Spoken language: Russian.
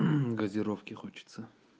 газировки хочется